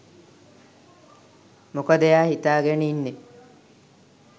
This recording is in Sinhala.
මොකද එයා හිතාගෙන ඉන්නේ